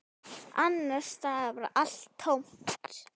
Annars staðar var allt tómt.